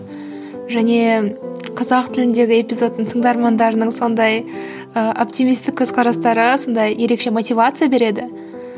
және қазақ тіліндегі эпизодтың тыңдармандарының сондай ы оптимистік көзқарастары сондай ерекше мотивация береді